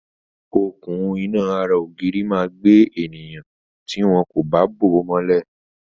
Okùn-iná ara ògiri máa gbé ènìyàn tí wọn kò bá bò ó mọ́lẹ̀.